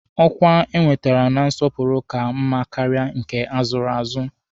Ọkwa enwetere na nsọpụrụ ka mma karịa nke azụrụ azụ.